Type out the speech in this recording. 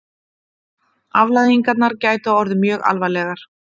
Afleiðingarnar gætu orðið mjög alvarlegar